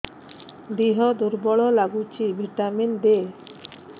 ଦିହ ଦୁର୍ବଳ ଲାଗୁଛି ଭିଟାମିନ ଦେ